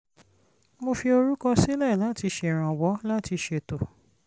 mo fi orúkọ sílẹ̀ láti ṣèrànwọ́ láti ṣètò